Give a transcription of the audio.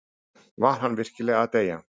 Var hann virkilega að deyja?